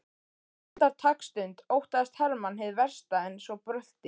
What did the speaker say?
Andartaksstund óttaðist Hermann hið versta en svo brölti